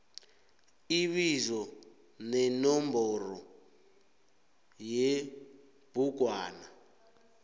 ibizo nenomboro yebhugwana